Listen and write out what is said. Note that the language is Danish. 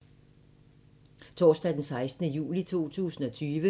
Torsdag d. 16. juli 2020